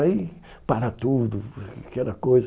Aí para tudo, aquela coisa.